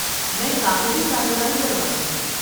میں کاغذی کارروائی کروا دوں گا۔